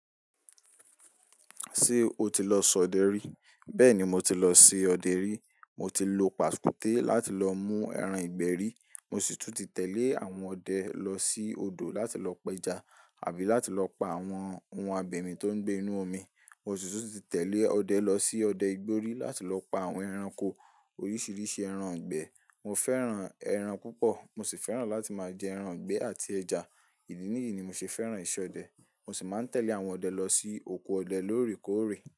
Ṣé o ti lọ sọ ọdẹ rí? Bẹ́ẹ̀ni mo ti lọ ṣe ọdẹ rí. Mo ti lo pàkúté láti lọ mú ẹran ìgbẹ́ rí. Mo sì tún ti tẹ̀lé àwọn ọdẹ lọ sí odò láti lọ pẹja àbí láti lọ pa àwọn ohun abẹ̀mì tó ń gbé inú omi. Mo sì tún ti tẹ̀lé ọdẹ lọ sí ọdẹ ìgborí láti lọ pa àwọn ẹranko oríṣiríṣi ẹran ìgbẹ́. Mo fẹ́ran ẹran púpọ̀ mo sì fẹ́ran láti máa jẹ ẹran ìgbẹ́ àti ẹja. Ìdí nìyí ni mo ṣe fẹ́ran ìṣe ọdẹ. Mo sì máa ń tẹ̀lé àwọn ọdẹ lọ sí oko ọdẹ lórèkórè.